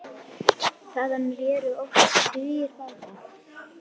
Þaðan réru oft tugir báta.